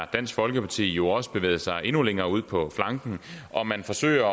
dansk folkeparti jo også har bevæget sig endnu længere ud på flanken hvor man forsøger